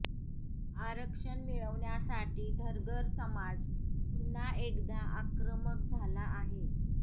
आरक्षण मिळवण्यासाठी धरगर समाज पुन्हा एकदा आक्रमक झाला आहे